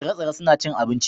tsire-tsire suna cin abinci